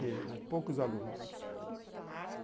Pequena, poucos alunos.